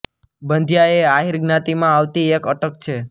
બંધીયા એ આહિર જ્ઞાતીમાં આવતી એક અટક છે